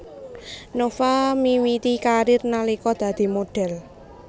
Nova miwiti karir nalika dadi modhél